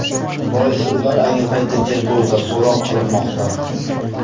Boisi ular ayni paytda tergovda, so‘roq qilinmoqda.